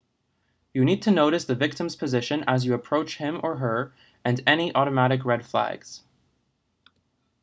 you need to notice the victim's position as you approach him or her and any automatic red flags